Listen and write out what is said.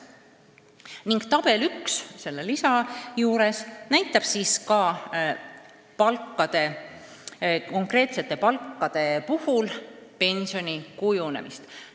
Lisamaterjali tabel 1 näitab konkreetsete palkade puhul pensioni kujunemist.